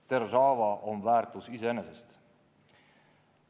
Deržaava on väärtus iseenesest.